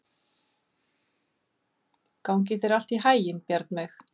Gangi þér allt í haginn, Bjarnveig.